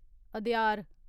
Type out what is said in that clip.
Adyar